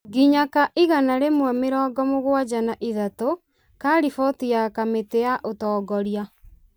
nginya ka igana rĩmwe mĩrongo mũgwanja na ithatũ ,ka riboti ya kamĩtĩ ya ũtongoria.